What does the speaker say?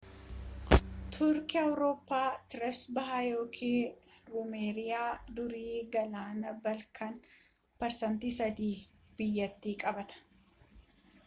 turkii awurooppaa trees bahaa ykn ruumeeliyaa daarii galaana baalkaan 3% biyyattii qabaata